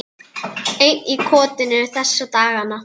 Einn í kotinu þessa dagana.